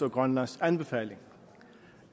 og grønlands anbefaling